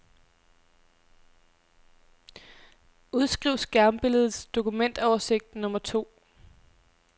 Udskriv skærmbilledets dokumentoversigt nummer to.